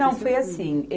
Não, foi assim.